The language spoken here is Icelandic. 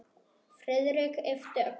Friðrik yppti öxlum.